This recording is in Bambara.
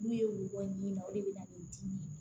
N'u ye wo bɔ ɲimi na o de bɛ na ni dimi ye